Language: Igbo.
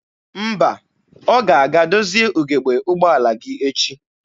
Mba, ọ ga-aga dozie ugebe ụgbọala gị echi.